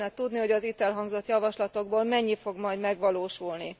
Jó lenne tudni, hogy az itt elhangzott javaslatokból mennyi fog majd megvalósulni.